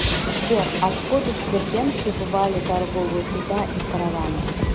сбер откуда в дербент прибывали торговые суда и караваны